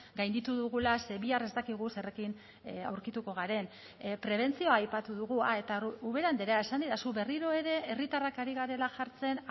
gainditu dugula ze bihar ez dakigu zerekin aurkituko garen prebentzioa aipatu dugu ah eta ubera andrea esan didazu berriro ere herritarrak ari garela jartzen